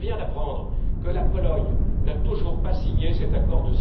Je viens d'apprendre que la Pologne n'a toujours pas signé cet accord.